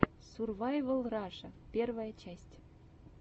сурвайвал раша первая часть